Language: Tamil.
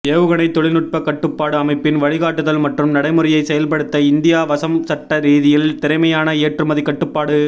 ஏவுகணை தொழில்நுட்ப கட்டுப்பாட்டு அமைப்பின் வழிகாட்டுதல் மற்றும் நடைமுறையை செயல்படுத்த இந்தியா வசம் சட்ட ரீதியில் திறமையான ஏற்றுமதி கட்டுப்பாடு